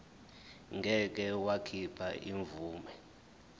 ngeke wakhipha imvume